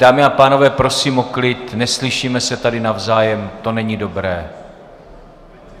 Dámy a pánové, prosím o klid, neslyšíme se tady navzájem, to není dobré.